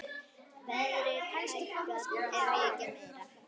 Verðið hækkar ekki mikið meira.